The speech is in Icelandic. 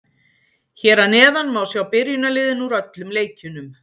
Hér að neðan má sjá byrjunarliðin úr öllum leikjunum.